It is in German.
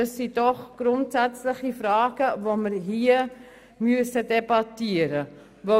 Das sind doch grundsätzliche Fragen, die wir hier debattieren müssen.